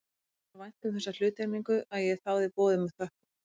Mér þótti svo vænt um þessa hluttekningu að ég þáði boðið með þökkum.